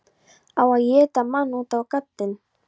Á að éta mann út á gaddinn?